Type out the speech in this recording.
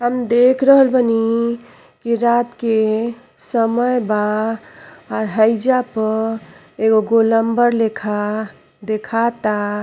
हम देख रहल बानी कि रात के समय बा। आ हईया प एगो गोलंबर देखाता।